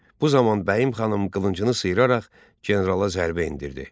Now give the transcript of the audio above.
Bu zaman Bəyim xanım qılıncını sıyıraraq generala zərbə endirdi.